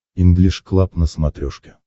инглиш клаб на смотрешке